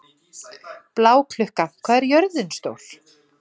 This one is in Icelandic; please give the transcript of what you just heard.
Bláklukka, hvað er jörðin stór?